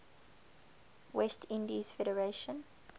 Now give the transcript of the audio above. west indies federation